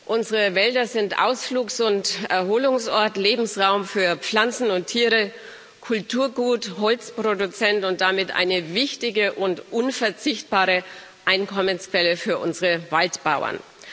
Unsere Wälder sind Ausflugs und Erholungsort, Lebensraum für Pflanzen und Tiere, Kulturgut, Holzproduzent und damit eine wichtige und unverzichtbare Einkommensquelle für unsere Waldbauern.